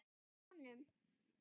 Hjá honum.